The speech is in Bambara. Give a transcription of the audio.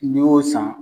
N'i y'o san